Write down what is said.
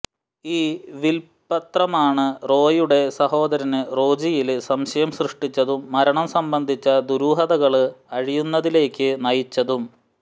ഈ വില്പ്പത്രമാണു റോയിയുടെ സഹോദരന് റോജോയില് സംശയം സൃഷ്ടിച്ചതും മരണം സംബന്ധിച്ച ദുരൂഹതകള് അഴിയുന്നതിലേക്കു നയിച്ചതും